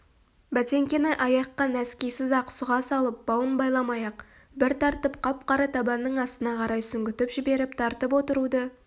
бәтеңкені аяққа нәскисіз-ақ сұға салып бауын байламай-ақ бір тартып қап қара табанның астына қарай сүңгітіп жіберіп тартып отыруды